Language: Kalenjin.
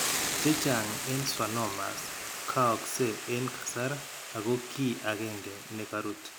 Chechaang' en schwannomas kayakse en kasar ak ko kiiy agenge ne karuut.